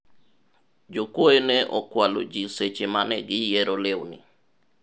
jokuoye ne okwalo ji seche mane giyiero lewni